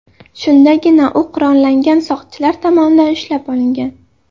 Shundagina u qurollangan soqchilar tomonidan ushlab olingan.